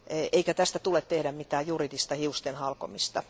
Eikä tästä tule tehdä mitään juridista hiusten halkomista.